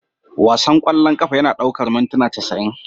Wasan ƙwallon ƙafa yana ɗaukar mintuna casa'in